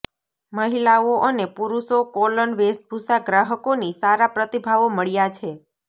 મહિલાઓ અને પુરુષો કોલન વેશભૂષા ગ્રાહકોની સારા પ્રતિભાવો મળ્યા છે